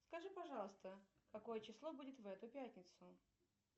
скажи пожалуйста какое число будет в эту пятницу